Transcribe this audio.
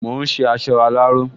Mò ún ṣe aṣọ aláró